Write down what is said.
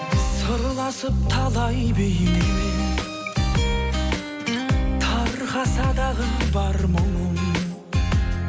сырласып талай бейнемен тарқаса дағы бар мұңым